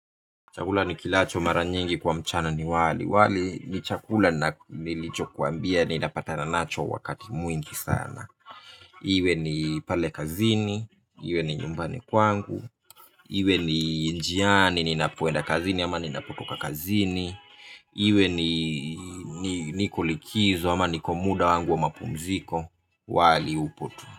Chakula nikilacho mara nyingi kwa mchana ni wali wali ni chakula nilichokwambia ninapata nacho wakati mwingi sana iwe ni pale kazini, iwe ni nyumbani kwangu iwe ni njiani ninapoenda kazini ama ninapotoka kazini iwe ni niko likizo ama niko muda wangu wa mapumziko wali upo tu.